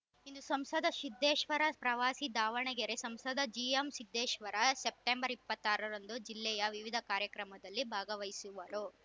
ಇಂದು ಸಂಸದ ಸಿದ್ದೇಶ್ವರ ಪ್ರವಾಸ ದಾವಣಗೆರೆ ಸಂಸದ ಜಿಎಂಸಿದ್ದೇಶ್ವರ ಸೆಪ್ಟೆಂಬರ್ ಇಪ್ಪತ್ತ್ ಆರ ರಂದು ಜಿಲ್ಲೆಯ ವಿವಿಧ ಕಾರ್ಯಕ್ರಮದಲ್ಲಿ ಭಾಗವಹಿಸುವರು